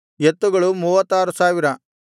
ಎತ್ತುಗಳು 36000